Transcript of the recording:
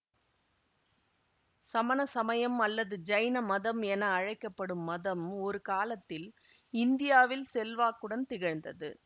சமண சமயம் அல்லது ஜைன மதம் என அழைக்க படும் மதம் ஒரு காலத்தில் இந்தியாவில் செல்வாக்குடன் திகழ்ந்தது